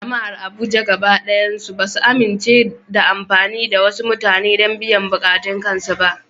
Jama’ar Abuja gaba ɗaya ba su amince da amfani da wasu mutane don biyan buƙatun kansu ba.